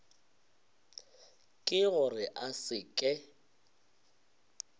ke gore a se ke